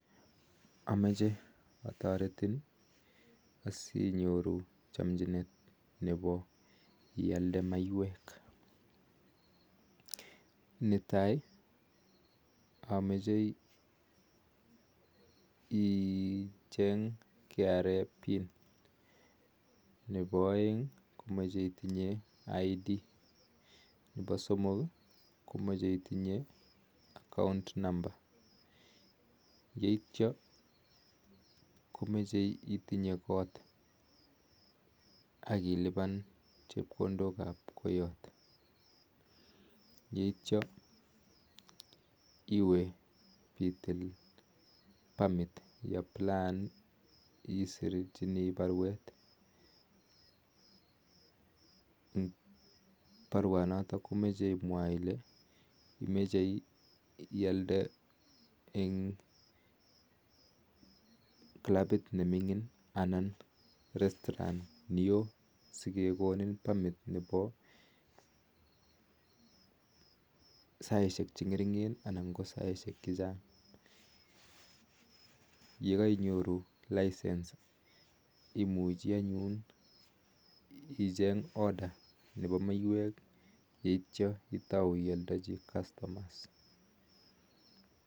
Amechee ataritin asinyoru chamchinet nepo ialdee maiyweek netaii amache ucheng kra pin nepo aek komache itinyeee kipandeet ak akkount number eityaa komagat itinyee kot aityaa komagat itinye permit notok iparuu kolee imochee ialdeee eng saisheek cheteee cheimechee yakaiyoruu imuchii icheng maiyweeek akitouu ialnde